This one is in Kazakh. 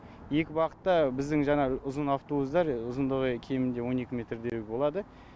екі бағытта біздің жаңағы ұзын автобустар ұзындығы кемінде он екі метрдей болады